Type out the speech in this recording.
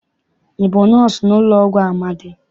Ị bụ nọọsụ n'ụlọọgwụ Amadị?